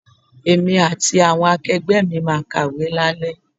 Èmi àti àwọn akegbe máa kàwé lale.